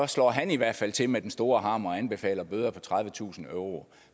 slår han i hvert fald til med den store hammer og anbefaler bøder på tredivetusind euro